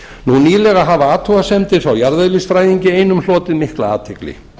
nú nýverið hafa athugasemdir frá jarðeðlisfræðingi einum hlotið miklar athygli